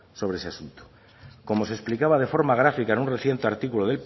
sobre ese asunto como se explicaba de forma gráfica en un reciente artículo